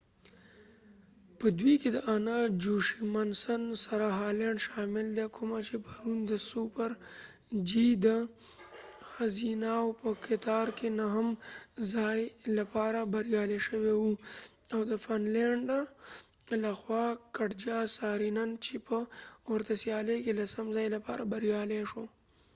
په دوئ کې د انا جوشیمسن سره هالینډ شامل دي کومه چی پرون د سوپر جی د ښځیناو په کتار کی نهم ځائی لپاره بریالی شوی وه او د فن لینډ لخوا کټجا سارینن چی په ورته سیالۍ کې لسم ځائ لپاره بریالی شوی